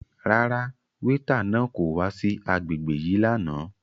Rárá, weeta náà ko wa si agbegbe yii làná